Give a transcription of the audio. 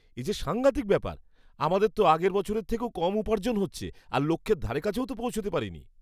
এ যে সাঙ্ঘাতিক ব্যাপার! আমাদের তো আগের বছরের থেকেও কম উপার্জন হচ্ছে, আর লক্ষ্যের ধারেকাছেও তো পৌঁছতে পারিনি!